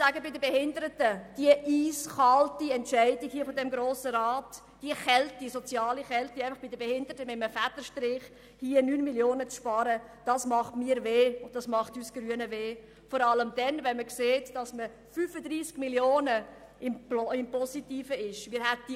Die eiskalte Entscheidung hier im Grossen Rat den Behinderten gegenüber, einfach mit einem Federstrich bei ihnen 9 Mio. Franken zu sparen, diese soziale Kälte schmerzt mich und die Grünen sehr, vor allem dann, wenn die Bilanz um 35 Mio. Franken im positiven Bereich liegt.